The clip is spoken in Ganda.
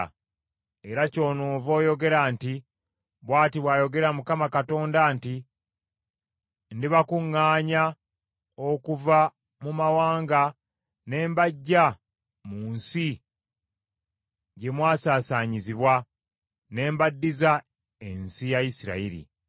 Era kyonoova oyogera nti, ‘Bw’ati bw’ayogera Mukama Katonda nti: ndibakuŋŋaanya okuva mu mawanga ne mbaggya mu nsi gye mwasaasaanyizibwa, ne mbaddiza ensi ya Isirayiri.’